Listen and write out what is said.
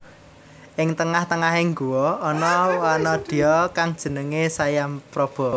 Ing tengah tengahing guwa ana wanadya kang jenengé Sayampraba